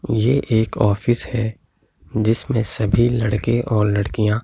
ये एक ऑफिस है जिसमे सभी लड़के और लड़कियाँ